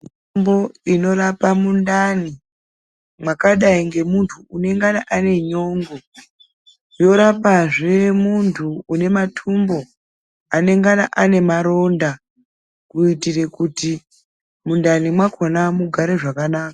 Mutombo unorapa mundani makadai ngemumtu inongana ane nyongo yorapazbs muntu une matumbu anongana ane Maronda kuitira kuti mundani makona mugare zvakanaka.